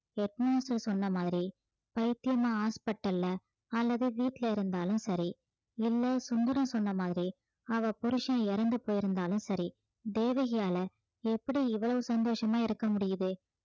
head master சொன்ன பைத்தியமா hospital அ அல்லது வீட்டுல இருந்தாலும் சரி இல்ல சுந்தரம் சொன்ன மாதிரி அவ புருசன் இறந்து போயிருந்தாலும் சரி தேவகியால எப்படி இவ்வளவு சந்தோஷமா இருக்க முடியுது